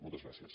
moltes gràcies